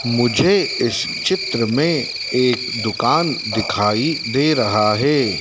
मुझे इस चित्र में एक दुकान दिखाई दे रहा है।